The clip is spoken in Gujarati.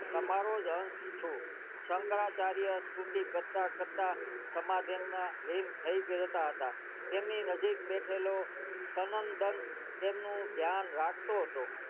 તમારો અંશ છું શંકરાચાર્ય સ્તુતિ કરતા કરતા સમાધિ માં લીન થઈ ગયા હતા તેમની નજીક બેઠલો સનંત દંત ધ્યાન રાખતો હતો